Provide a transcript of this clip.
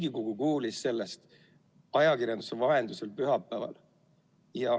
Riigikogu kuulis sellest ajakirjanduse vahendusel pühapäeval.